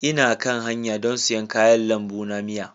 Ina kan hanya don siyan kayan lambu na miya.